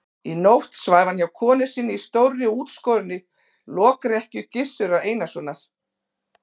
Í nótt svæfi hann hjá konu sinni í stórri og útskorinni lokrekkju Gizurar Einarssonar.